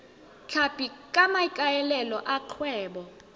tlhapi ka maikaelelo a kgwebo